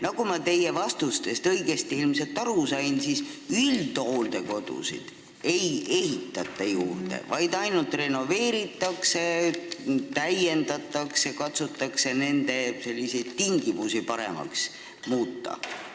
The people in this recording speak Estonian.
Nagu ma teie vastustest ilmselt õigesti aru sain, siis üldhooldekodusid ei ehitata juurde, vaid ainult renoveeritakse, täiendatakse ja katsutakse nende tingimusi paremaks muuta.